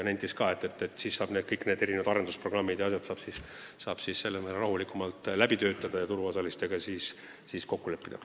Nenditi ka, et siis saab kõik arendusprogrammid ja muud asjad rahulikumalt läbi töötada ja turuosalistega kokku leppida.